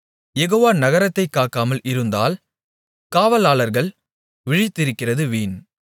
யெகோவா நகரத்தைக் காக்காமல் இருந்தால் காவலாளர்கள் விழித்திருக்கிறது வீண்